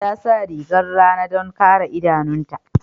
Ta sa rigar rana don kare idanunta.